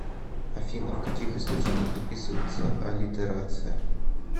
афина в каких источниках описывается аллитерация